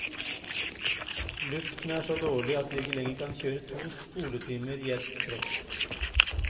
Luften er så dårlig at vi ikke lenger kan kjøre to skoletimer i ett strekk.